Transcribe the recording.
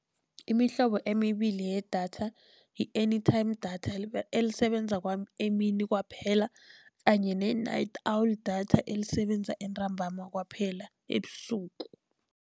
Imihlobo emibili yedatha yi-anytime data elisebenza emini kwaphela, kanye ne-night owl data elisebenza entambama kwaphela, ebusuku.